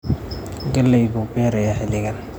Galley buu beerayaa xilligan?